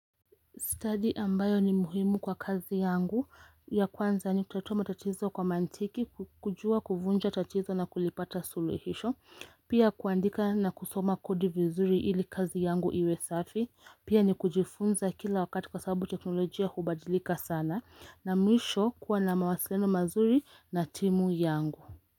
Study ambayo ni muhimu kwa kazi yangu. Ya kwanza ni kutatua matatizo kwa mantiki, kujua kuvunja tatizo na kulipata suluhisho, pia kuandika na kusoma kodi vinzuri ili kazi yangu iwe safi, pia ni kujifunza kila wakati kwa sababu teknolojia hubadilika sana na mwisho kuwa na mawasiliano mazuri na timu yangu.